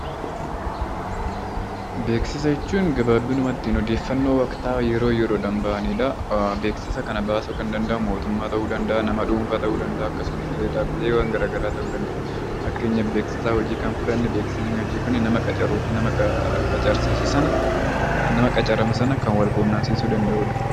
Beeksisa jechuun gabaabbinumatti odeeffannoo waktaawaa yeroo yeroon bahaniidha. Beeksisa kana baasuu Kan danda'u mootummaa tahuu danda'a, nama dhuunfaa tahuu danda'a akkasumas illee dhaabbileewwan garaagaraa tahuu danda'a. Fakkeenyaaf beeksisa hojii Kan fudhanne, beeksisni hojii kun nama qacaruufi nama qacarame sana Kan Wal quunnamsiisuu danda'udha.